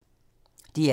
DR2